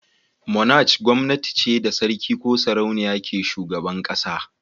"Monarch" gwamnati ce da sarki ko sarauniya ke shugaban kasa.